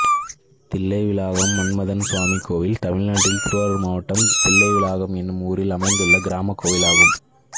தில்லைவிளாகம் மன்மதன் சுவாமி கோயில் தமிழ்நாட்டில் திருவாரூர் மாவட்டம் தில்லைவிளாகம் என்னும் ஊரில் அமைந்துள்ள கிராமக் கோயிலாகும்